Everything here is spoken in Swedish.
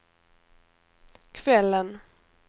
kvällen